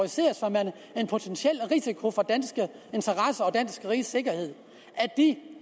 at en potentiel risiko for danske interesser og rigets sikkerhed